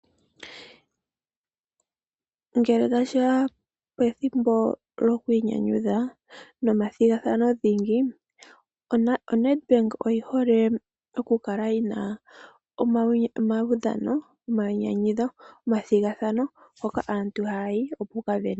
Ngele tashi ya pethimbo lo ku inyanyudha nomathigathano dhingi, oNedbank oyi hole okukala yi na omaudhano, omainyanyudho, omathigathano hoka aantu haya yi oku ka sindana.